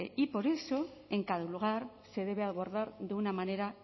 y por eso en cada lugar se debe abordar de una manera